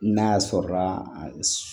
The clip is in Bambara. N'a sɔrɔla a s